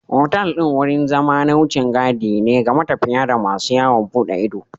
Otal ɗin wurin zama na wucin gadi ne ga matafiya da masu yawon bude ido